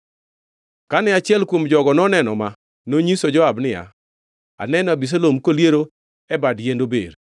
Kane achiel kuom jogo noneno ma, nonyiso Joab niya, “Aneno Abisalom koliero e bad yiend ober.”